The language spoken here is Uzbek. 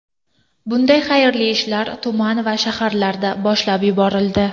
Bunday xayrli ishlar tuman va shaharlarda boshlab yuborildi.